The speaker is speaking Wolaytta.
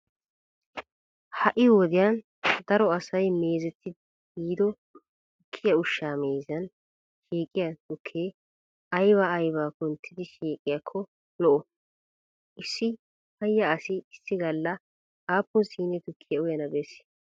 Ha"i wodiyan daro asay meezetiiddi yiido tukkiya ushshaa meeziyan shiiqiya tukkee aybaa aybaa kunttidi shiiqiyakko lo"oo? Issi payya asi issi galla aappun shine tukkiya uyana bessii?